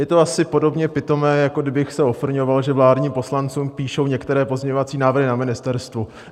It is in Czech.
Je to asi podobně pitomé, jako kdybych se ofrňoval, že vládním poslancům píšou některé pozměňovací návrhy na ministerstvu.